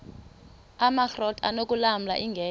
amakrot anokulamla ingeka